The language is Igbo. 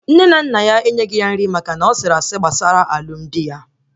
Nne na nna ya enyeghi ya nri maka na ọ sịrị asị maka alụmdi ya